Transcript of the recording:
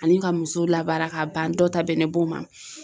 Ani ka musow labaara k'a ban dɔw ta bɛnnen b'o ma